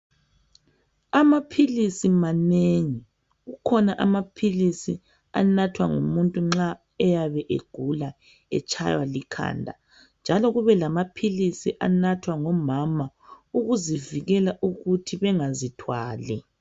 Amaphilisi manengi kukhona amaphilisi anathwa ngumuntu nxa eyabe egula etshaywa likhanda njalo kube lamaphilisi anathwa ngomama ukuvikela ukuthi bengazithwali.